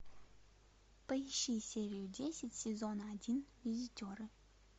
поищи серию десять сезона один визитеры